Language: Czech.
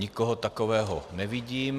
Nikoho takového nevidím.